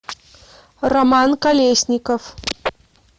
роман колесников